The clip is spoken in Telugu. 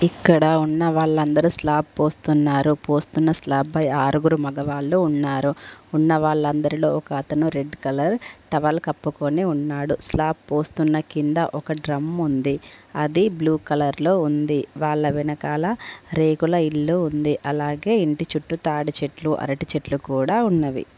ఇక్కడ ఉన్న వాళ్ళందరూ స్లాబ్ పోస్తున్నారు పోస్తున్న స్లాబ్ పై ఆరుగురు మగవాళ్ళు ఉన్నారు ఉన్న వాళ్ళందరిలో ఒక అతను రెడ్ కలర్ టవల్ కప్పుకొని ఉన్నాడు స్లాబ్ పోస్తున్న కింద ఒక డ్రమ్ము ఉంది అది బ్లూ కలర్ లో ఉంది వాళ్ళ వెనకాల రేగుల ఇల్లు ఉంది అలాగే ఇంటి చుట్టూ తాడి చెట్లు అరటి చెట్లు కూడా ఉన్నవి.